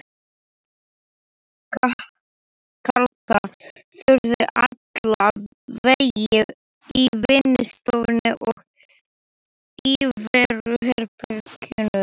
Kalka þurfti alla veggi í vinnustofunni og íveruherbergjunum.